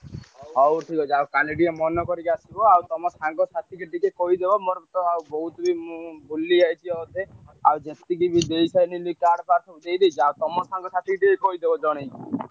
ହଉ ଠିକ ଅଛି। ଆଉ କାଲି ଟିକେ ମନେକରିକି ଆସିବ ଆଉ ତମ ସାଙ୍ଗସାଥିକି ଟିକେ କହିଦବ ମୋର ତ ଆଉ ବହୁତ ମୁଁ ଭୁଲି ଯାଇଛି ଅଧେ। ଆଉ ଯେତିକି ଦେଇସାଇଲିଣି card ଫାର୍ଡ ସବୁ ଦେଇଦେଇଛି ଆଉ ତମ ସାଙ୍ଗସାଥିକି ଟିକେ କହିଦବ ଜଣେଇକି।